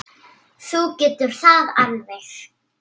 Þú getur það alveg.